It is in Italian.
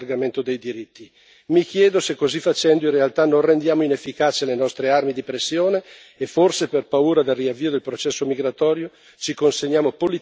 Mi chiedo se, così facendo, in realtà non rendiamo inefficaci le nostre armi di pressione e, forse per paura del riavvio del processo migratorio, ci consegniamo politicamente ad Erdoğan.